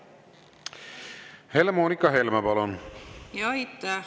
Helle-Moonika Helme, palun!